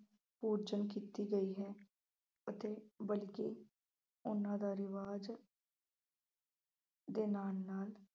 ਓਜਲ ਕੀਤੀ ਗਈ ਹੈ ਅਤੇ ਬਲਕਿ ਉਹਨਾ ਦਾ ਰਿਵਾਜ਼ ਦੇ ਨਾਲ ਨਾਲ